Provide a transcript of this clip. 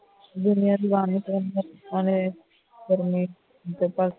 ਗਰਮੀ ਉੱਤੇ ਤੱਕ